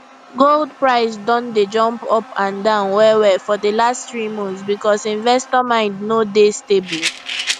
gold price don dey jump up and down wellwell for de last three months because investor mind no dey stable